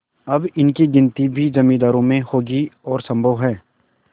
अब इनकी गिनती भी जमींदारों में होगी और सम्भव है